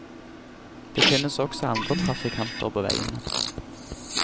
Det finnes også andre trafikanter på veiene.